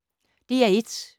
DR1